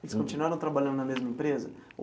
Eles continuaram trabalhando na mesma empresa?